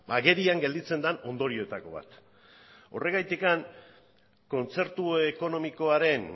agerian gelditzen den ondorioetako bat horregatik kontzertu ekonomikoaren